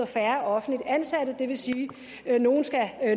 færre offentligt ansatte det vil sige at nogle